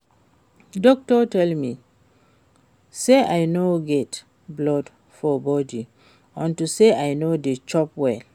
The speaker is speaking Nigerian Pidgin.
Doctor tell me say I no get blood for body unto say I no dey chop well